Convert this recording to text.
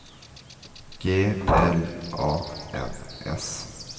G L A N S